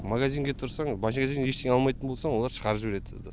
магазинге тұрсаң магазиннен ештеңе алмайтын болсаң олар шығарып жібереді сізді